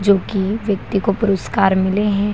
जो की व्यक्ति को पुरस्कार मिले हैं।